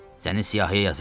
Səni siyahıya yazıram.